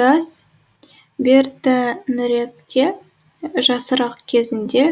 рас бертініректе жасырақ кезінде